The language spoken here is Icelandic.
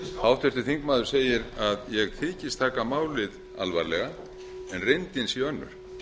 háttvirtur þingmaður segir að ég þykist taka málið alvarlega en reyndin sé önnur